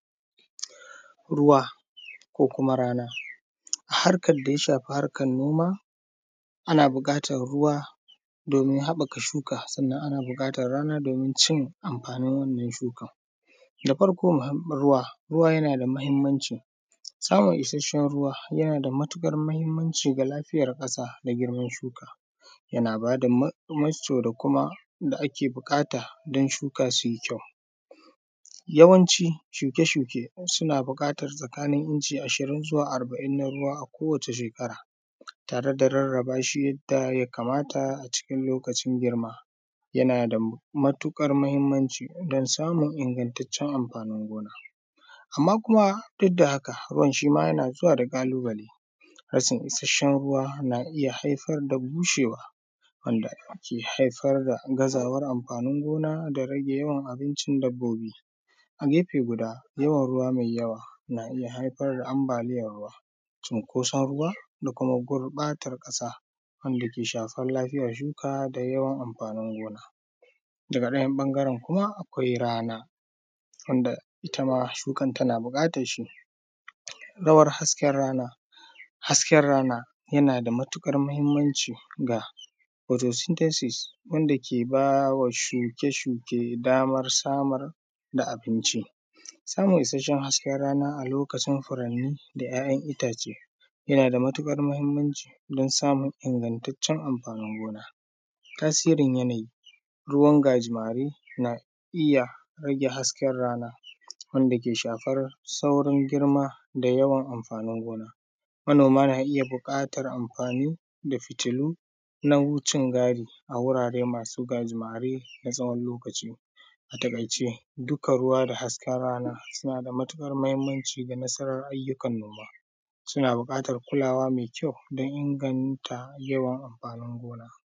Ruwa ko kuma rana. Harkar daya shafi harkar noma ana buƙatan ruwa domin haɓaka shuka, sannan ana buƙatan rana domin cin amfanin wannan shukan. Da farko ruwa, ruwa yana da muhimmanci, samun isashen ruwa yana da matuƙar mahimmanci ga lafiyar ƙasa da girman shuka, yana bada mescu da kuma da ake buƙata don shuka su yi kyau. Yawanci shuke-shuke suna buƙatan tsakanin inci ashirin zuwa arba’in na ruwa a kowace shekara, tare da rarrabashi yadda ya kamata a cikin lokacin girman, yana da matuƙar mahimmanci wajen samun ingantacen amfanin gona. Amma kuma duk da haka ruwan shima yana zuwa da ƙalubale, rashin isashen ruwa na iya haifar da bushewa, wanda ke haifar da gazawar amfanin gona da rage yawan abincin dabbobi. A gefe guda yawan ruwa mai yawa na iya haifar da ambaliyan ruwa, cinkoson ƙasa da kuma gurɓatan ƙasa wanda ke shafa lafiyar shuka da yawan amfanin gona. Daga ɗaya ɓangaren kuma akwai rana, wanda itama shukan tana buƙatar shi. Dawar hasken rana, hasken rana yana da matuƙar mahimmanci ga futo sintesis wanda ke bawa shuke-shuke damar samar da abinci. Samun isashen rana a lokacin furani da ‘ya’yan itace yana da matuƙar mahimmanci don samun ingantaccen amfanin gona. Tasirin yanayi, ruwan gajimare na iya rage hasken rana, wanda ke shafar saurin girma da yawan amfanin gona. Manoma na iya buƙatar amfani da fitulu na wucin gadi wurare masu gajimare na tsawon lokaci. A taƙaice dukkan ruwa da hasken rana suna da matuƙar mahimmanci ga nasarar ayyukan noma, suna buƙatar kulawa mai kyau don inganta yawan amfanin gona.